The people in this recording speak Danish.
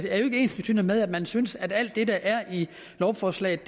er jo ikke ensbetydende med at man synes at alt det der er i lovforslaget